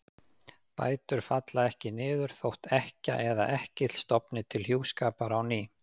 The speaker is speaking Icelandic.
Bætur falla ekki niður þótt ekkja eða ekkill stofni til hjúskapar á ný.